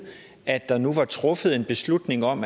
at der nu var truffet en beslutning om